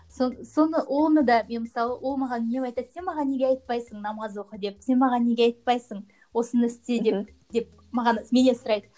сол соны оны да мен мысалы ол маған сен маған неге айтпайсың намаз оқы деп сен маған неге айтпайсың осыны істе деп деп маған менен сұрайды